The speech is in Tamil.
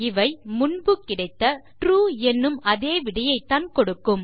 இவை முன்பு கிடைத்த ட்ரூ எனும் அதே விடையைத் தான் கொடுக்கும்